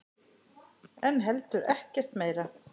En heldur ekkert meira.